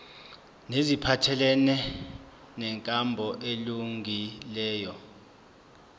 neziphathelene nenkambo elungileyo